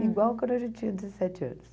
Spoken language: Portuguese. Igual quando a gente tinha dezessete anos.